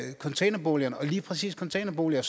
containerboligerne og lige præcis containerboliger